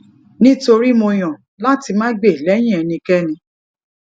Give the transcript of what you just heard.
nítorí mo yàn láti má gbè lẹyìn ẹnikéni